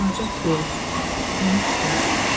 Dolanacaq yox, tanış yox.